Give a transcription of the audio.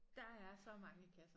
Der er så mange kasser